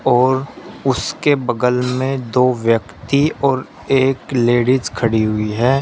और उसके बगल में दो व्यक्ति और एक लेडिज खड़ी हुई है।